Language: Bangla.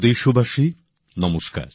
আমার প্রিয় দেশবাসী নমস্কার